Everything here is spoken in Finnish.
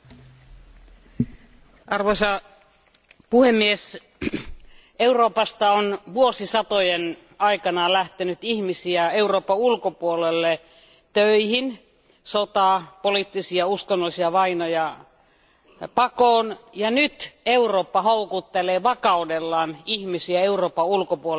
Arvoisa puhemies, Euroopasta on vuosisatojen aikana lähtenyt ihmisiä Euroopan ulkopuolelle töihin sekä sotaa, poliittisia ja uskonnollisia vainoja pakoon, ja nyt Eurooppa houkuttelee vakaudellaan ihmisiä Euroopan ulkopuolelta, ja se on hyvä asia.